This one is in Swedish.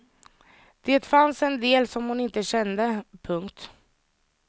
Det fanns en del som hon inte kände. punkt